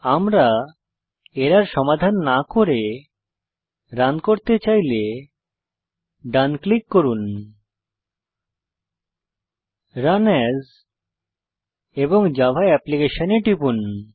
আমরা এরর সমাধান না করে রান করতে চাইলে ডান ক্লিক করুন রান এএস এবং জাভা অ্যাপ্লিকেশন এ টিপুন